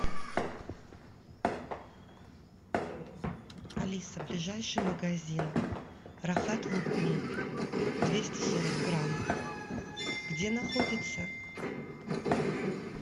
алиса ближайший магазин рахат лукум двести сорок грамм где находится